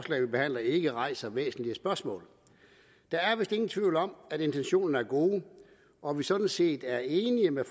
vi behandler ikke rejser væsentlige spørgsmål der er vist ingen tvivl om at intentionerne er gode og at vi sådan set er enige med